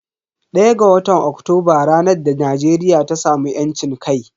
ɗaya ga watan Oktoba ranar da Najeriya ta samu yancin kai.